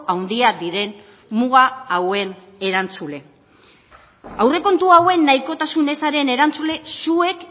handia diren muga hauen erantzule aurrekontu hauen nahikotasun ezaren erantzule zuek